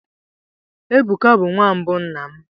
Ebuka bụ nwa mbụ nna m.